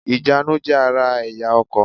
Ìjánu jé ara èyá ọkò